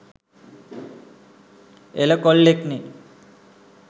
එල කොල්ලෙක්නෙ